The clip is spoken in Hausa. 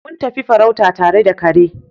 Mun tafi farauta tare da kare.